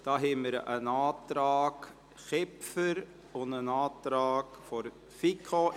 Wir haben einen Antrag Kipfer und einen Antrag der FiKo.